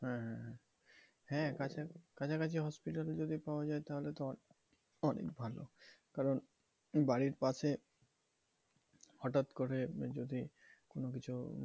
হ্যাঁ হ্যাঁ হ্যাঁ হ্যাঁ কাছাকাছি কাছাকাছি hospital যদি পাওয়া যায় তাহলে তো অনেক ভালো। কারণ বাড়ির পাশে হটাৎ করে যদি কোনোকিছু